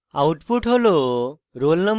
output হল